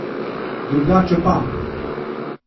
Drugače pa.